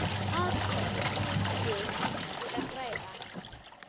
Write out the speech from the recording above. Af hverju búist þið við að græða?